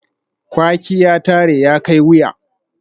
Kwaki ya tare, ya kai wuya